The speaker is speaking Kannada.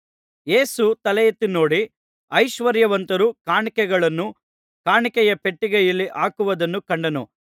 ಯೇಸು ತಲೆಯೆತ್ತಿ ನೋಡಿ ಐಶ್ವರ್ಯವಂತರು ಕಾಣಿಕೆಗಳನ್ನು ಕಾಣಿಕೆಯ ಪೆಟ್ಟಿಗೆಯಲ್ಲಿ ಹಾಕುವುದನ್ನು ಕಂಡನು